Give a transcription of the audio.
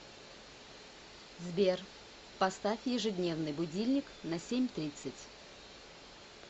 сбер поставь ежедневный будильник на семь тридцать